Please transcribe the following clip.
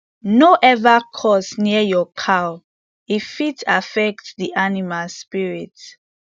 no ever curse near your cow e fit affect the animal spirit